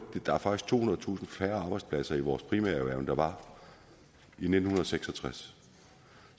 der er faktisk tohundredetusind færre arbejdspladser i vores primærerhverv end der var i nitten seks og tres